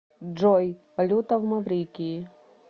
джой валюта в маврикии